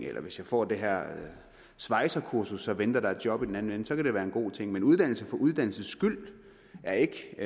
eller hvis jeg får det her svejsekursus venter der et job i den anden ende så kan være en god ting men uddannelse for uddannelsens skyld er ikke